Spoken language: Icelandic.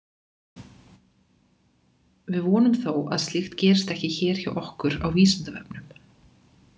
Við vonum þó að slíkt gerist ekki hér hjá okkur á Vísindavefnum!